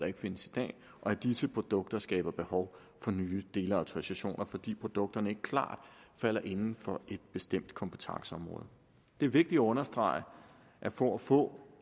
ikke findes i dag og at disse produkter skaber behov for nye delautorisationer fordi produkterne ikke klart falder inden for et bestemt kompetenceområde det er vigtigt at understrege at for at få